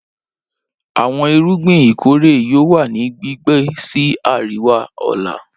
Awọn irugbin ikore yoo wa ni gbigbe si ariwa ọla